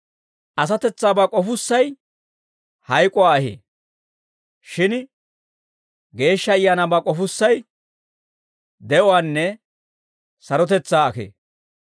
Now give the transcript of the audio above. Asatetsaabaa k'ofussay hayk'uwaa ahee; shin Geeshsha Ayaanaabaa k'ofussay de'uwaanne sarotetsaa ahee.